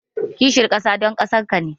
Kishin kasa son kasarka ne.